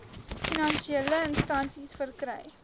finansiële instansies verkry